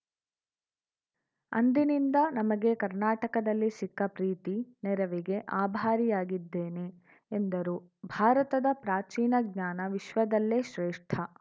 ಅಂದಿನಿಂದ ನಮಗೆ ಕರ್ನಾಟಕದಲ್ಲಿ ಸಿಕ್ಕ ಪ್ರೀತಿ ನೆರವಿಗೆ ಆಭಾರಿಯಾಗಿದ್ದೇನೆ ಎಂದರು ಭಾರತದ ಪ್ರಾಚೀನ ಜ್ಞಾನ ವಿಶ್ವದಲ್ಲೇ ಶ್ರೇಷ್ಠ